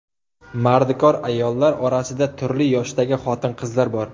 Mardikor ayollar orasida turli yoshdagi xotin-qizlar bor.